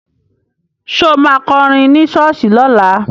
Ṣo ma kọrin ní ṣọ́ọ̀ṣì lọ́la?